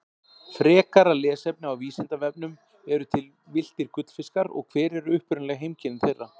Frekara lesefni á Vísindavefnum Eru til villtir gullfiskar og hver eru upprunaleg heimkynni þeirra?